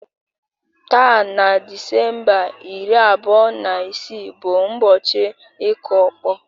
Taa na Disemba iri abụọ na isii bụ ụbọchị ịkụ ọkpọ